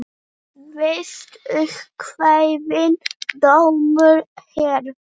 Víst upp kveðinn dómur hér.